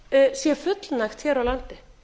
sé fullnægt hér á landi